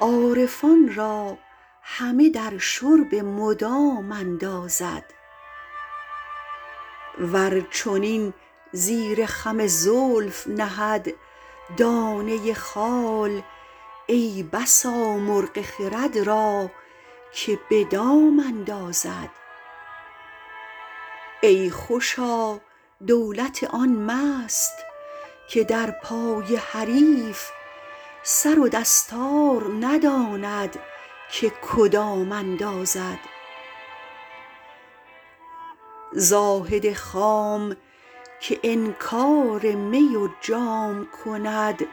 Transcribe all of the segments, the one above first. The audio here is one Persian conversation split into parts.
عارفان را همه در شرب مدام اندازد ور چنین زیر خم زلف نهد دانه خال ای بسا مرغ خرد را که به دام اندازد ای خوشا دولت آن مست که در پای حریف سر و دستار نداند که کدام اندازد زاهد خام که انکار می و جام کند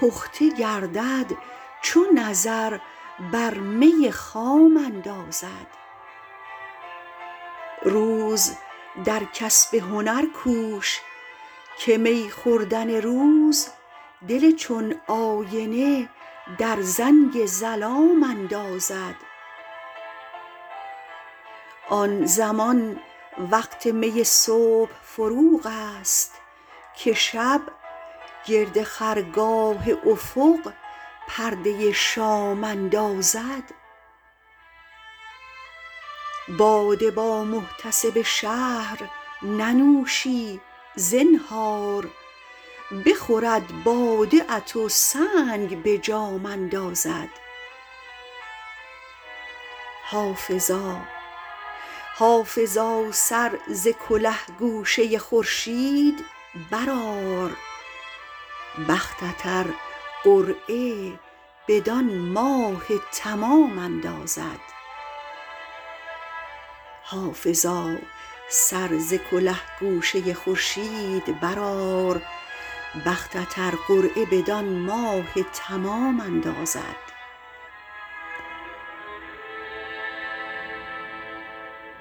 پخته گردد چو نظر بر می خام اندازد روز در کسب هنر کوش که می خوردن روز دل چون آینه در زنگ ظلام اندازد آن زمان وقت می صبح فروغ است که شب گرد خرگاه افق پرده شام اندازد باده با محتسب شهر ننوشی زنهار بخورد باده ات و سنگ به جام اندازد حافظا سر ز کله گوشه خورشید برآر بختت ار قرعه بدان ماه تمام اندازد